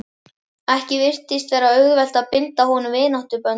Ekki virtist vera auðvelt að bindast honum vináttuböndum.